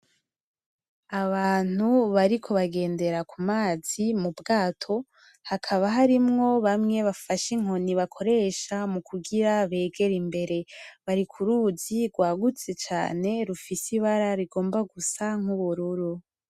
Abantu bariko bagendera kumazi m'Ubwato, hakaba harimwo bamwe bafashe inkoni bakoresha mukugira begere imbere, bari kuruzi rwagutse cane rifise Ibara rigomba gusa n'ubururu.